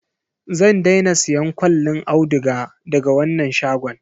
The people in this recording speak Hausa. Zan daina siyan kwallin auduga daga wannan shagon.